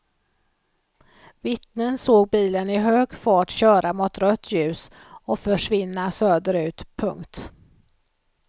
Vittnen såg bilen i hög fart köra mot rött ljus och försvinna söderut. punkt